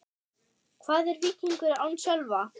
Hvað er Víkingur án Sölva?